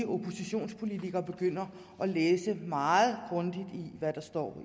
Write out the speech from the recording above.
oppositionspolitiker begynder at læse meget grundigt hvad der står